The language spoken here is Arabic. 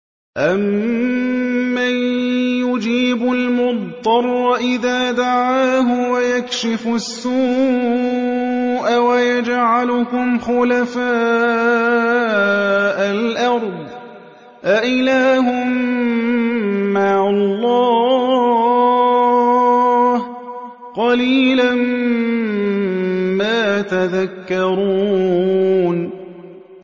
أَمَّن يُجِيبُ الْمُضْطَرَّ إِذَا دَعَاهُ وَيَكْشِفُ السُّوءَ وَيَجْعَلُكُمْ خُلَفَاءَ الْأَرْضِ ۗ أَإِلَٰهٌ مَّعَ اللَّهِ ۚ قَلِيلًا مَّا تَذَكَّرُونَ